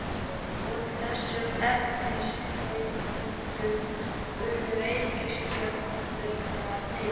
Úr þessum efnisheildum urðu reikistjörnurnar til.